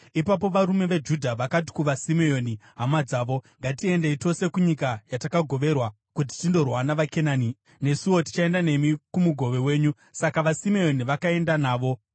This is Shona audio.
Ipapo varume veJudha vakati kuvaSimeoni hama dzavo, “Ngatiendei tose kunyika yatakagoverwa, kuti tindorwa navaKenani. Nesuwo tichaenda nemi kumugove wenyu.” Saka vaSimeoni vakaenda navo.